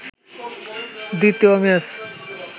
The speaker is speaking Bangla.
দ্বিতীয় ম্যাচ